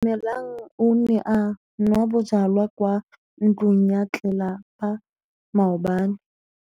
Atamelang o ne a nwa bojwala kwa ntlong ya tlelapa maobane.